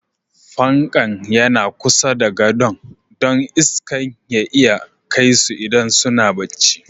Fanƙan yana kusa da godo'n, don iskan ya iya kai su idan suna bacci.